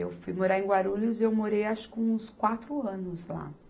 Eu fui morar em Guarulhos e eu morei acho que uns quatro anos lá.